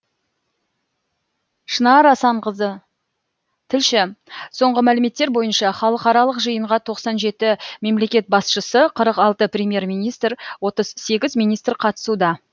шынар асанқызы тілші соңғы мәліметтер бойынша халықаралық жиынға тоқсан жеті мемлекет басшысы қырық алты премьер министр отыз сегіз министр қатысуда